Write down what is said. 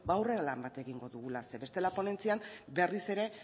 aurrera lan bat egingo dugula bestela ponentzian berriz ere